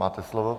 Máte slovo.